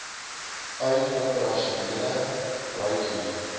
uit operasionele bruikhuur